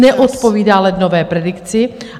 Neodpovídá lednové predikci.